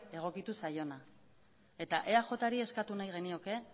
egokitu zaiona eta eajri eskatu nahi genioke